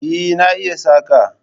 Eh na iya saƙa